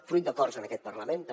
fruit d’acords en aquest parlament també